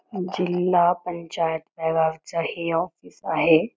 जिल्हा पंचायतच हे ऑफिस आहे.